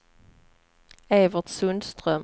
Evert Sundström